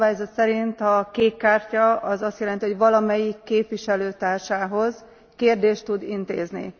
A szabályzat szerint a kék kártya az azt jelenti, hogy valamelyik képviselőtársához kérdést tud intézni.